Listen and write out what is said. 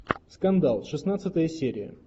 скандал шестнадцатая серия